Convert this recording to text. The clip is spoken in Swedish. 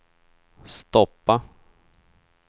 stoppa